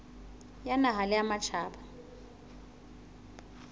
ya naha le ya matjhaba